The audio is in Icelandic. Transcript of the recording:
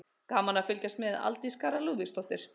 Gaman að fylgjast með: Aldís Kara Lúðvíksdóttir.